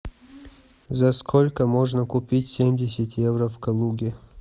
за сколько можно купить семьдесят евро в калуге